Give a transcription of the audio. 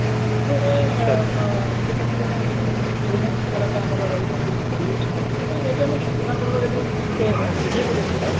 ସେ ଯେହେତୁ ଜଣେ ଆମର ରହିଛନ୍ତି bollywood ଯଦି ଯଦି ଆମେ ଛେନାପୋଡର ଯଦି ତେ ଇଏକୁ ଦେଖିବା